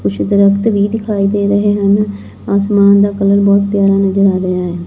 ਕੁਛ ਦਰਖਤ ਵੀ ਦਿਖਾਈ ਦੇ ਰਹੇ ਹਨ ਆਸਮਾਨ ਦਾ ਕਲਰ ਬਹੁਤ ਪਿਆਰਾ ਨਜਰ ਆ ਰਿਹਾ ਹੈ।